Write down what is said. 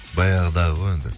баяғыда ғой енді